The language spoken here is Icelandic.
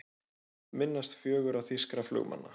Minnast fjögurra þýskra flugmanna